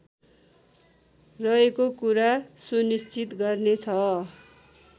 रहेको कुरा सुनिश्चित गर्नेछ